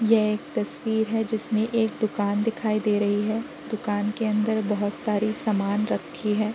यह एक तस्वीर है जिसमें एक दुकान दिखाई दे रही है। दुकान के अंदर बहुत सारी समान रखी है।